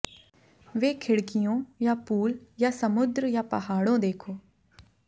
वे खिड़कियों या पूल या समुद्र या पहाड़ों देखो